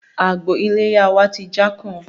Àgbò iléyá wá ti jákùn